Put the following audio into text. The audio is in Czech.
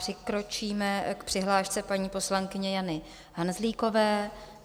Přikročíme k přihlášce paní poslankyně Jany Hanzlíkové.